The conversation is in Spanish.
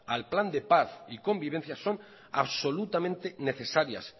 al plan de paz y convivencia son absolutamente necesarias